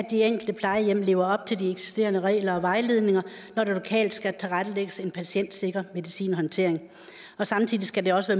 at de enkelte plejehjem lever op til de eksisterende regler og vejledninger når der lokalt skal tilrettelægges en patientsikker medicinhåndtering og samtidig skal det også